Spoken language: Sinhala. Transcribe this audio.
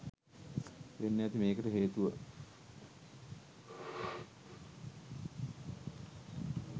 වෙන්න ඇති මේකට හේතුව